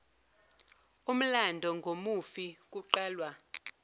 umlando ngomufi kuqalwa